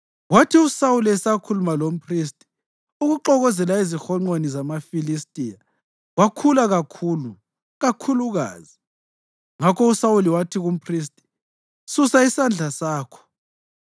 Kwathi uSawuli esakhuluma lomphristi, ukuxokozela ezihonqweni zamaFilistiya kwakhula kakhulu kakhulukazi. Ngakho uSawuli wathi kumphristi, “Susa isandla sakho.”